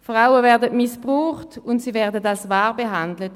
Frauen werden missbraucht und als Ware behandelt.